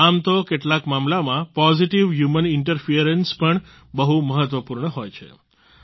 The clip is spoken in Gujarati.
આમ તો કેટલાક મામલામાં પોઝિટિવ હ્યુમન ઇન્ટરફરન્સ પણ બહુ મહત્વપૂર્ણ હોય છે